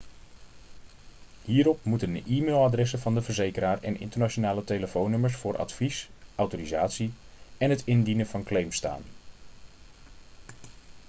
hierop moeten de e-mailadressen van de verzekeraar en internationale telefoonnummers voor advies/autorisatie en het indienen van claims staan